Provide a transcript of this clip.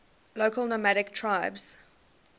local nomadic tribes